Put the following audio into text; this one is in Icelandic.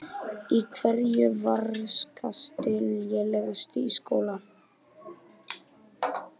Í hverju varstu lélegust í skóla?